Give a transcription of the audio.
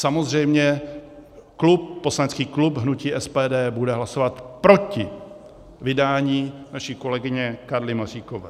Samozřejmě poslanecký klub hnutí SPD bude hlasovat proti vydání naší kolegyně Karly Maříkové.